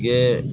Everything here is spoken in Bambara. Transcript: Kɛ